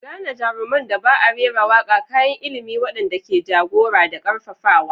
Gane jaruman da ba a rera waƙa, kayan ilimi waɗanda ke jagora da ƙarfafawa.